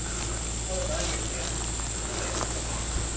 ಹೌದಾ ಹಾಗೆ ಹೇಳ್ತಿಯ ಏನಾಯ್ತು ವಿಷಯ ಎಂತ?